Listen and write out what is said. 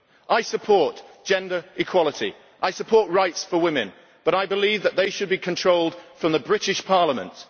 I support gender equality and I support rights for women, but I believe that they should be controlled from the British Parliament.